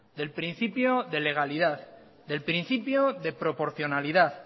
del principio de legalidad del principio de proporcionalidad